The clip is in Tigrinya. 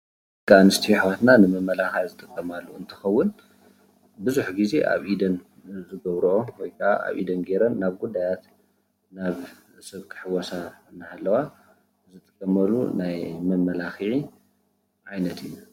ደቂ ኣነስትዮ ኣሕዋትና ንመመላክዒ ዝጥቀማሉ እንትኮውን ቡዙሕ ግዜ ኣብ ኢደን ዝገብረኦ ወይ ከዓ አብ ኢደን ገይረን ናብ ጉዳያት ናብ ሰብ ክሕወሳ እንደሃለዋ ዝጥቀማሉ ናይ መመላክዒ ዓይነት እዩ፡፡